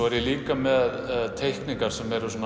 er líka með teikningar sem eru